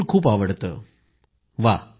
प्रधानमंत्रीः उंगकिट्ट पेसीयदिल येनक्क